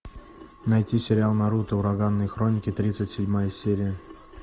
найти сериал наруто ураганные хроники тридцать седьмая серия